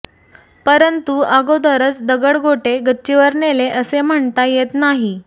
परंतु अगोदरच दगडगोटे गच्चीवर नेले असे म्हणता येत नाही